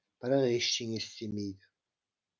бірақ ештеңе істемейді